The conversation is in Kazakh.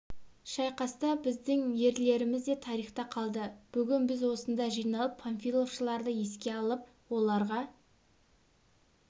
шайқас та біздің ерлеріміз де тарихта қалды бүгін біз осында жиналып панфиловшыларды еске алып оларға